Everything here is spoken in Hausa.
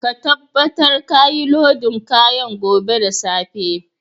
Ka tabatar ka yi lodin kayan gobe da safe!